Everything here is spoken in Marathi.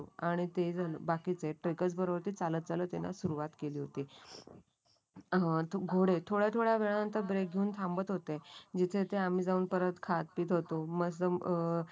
आणि ते जण बाकीचे ट्रेकरस बरोबर चालत चालत येणं सुरुवात केली होती. अह ते घोडे थोड्या थोड्या वेळात ब्रेक घेऊन थांबत होते. जिथे जिथे आम्ही जाऊन परत खात पीत होतो. मस्त अं